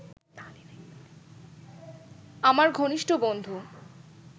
আমার ঘনিষ্ঠ বন্ধু